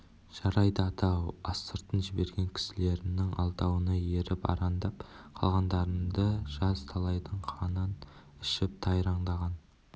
жарайды ата соның астыртын жіберген кісілерінің алдауына еріп арандап қалғандарыңды жаз талайдың қанын ішіп тайраңдаған